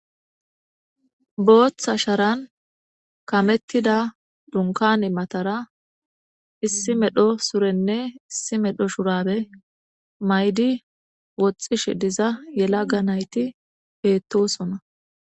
booththa sharan kamettida dunkani matara issi medho surenne issi medho shurabe maydi woxxish diza yelaga nayti heettosona